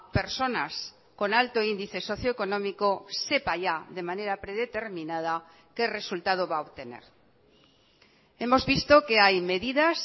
personas con alto índice socioeconómico sepa ya de manera predeterminada qué resultado va a obtener hemos visto que hay medidas